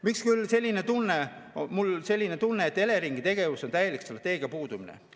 Miks küll on mul selline tunne, et Eleringi tegevuses on täielik strateegia puudumine?